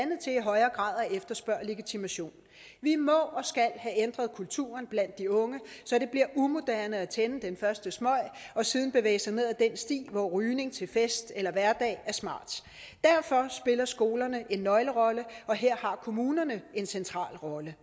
efterspørge legitimation vi må og skal have ændret kulturen blandt de unge så det bliver umoderne at tænde den første smøg og siden bevæge sig ned ad den sti hvor rygning til fest eller hverdag er smart derfor spiller skolerne en nøglerolle og her har kommunerne en central rolle